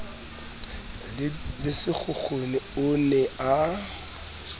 le sekgukhuni o ne a